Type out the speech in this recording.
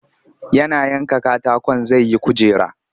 Yana yanka katakon zai yi kujera